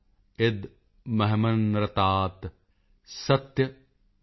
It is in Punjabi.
ਇਦਮਹਮਨ੍ਰਤਾਤ ਸਤਯਮੁਪੈਮਿ ॥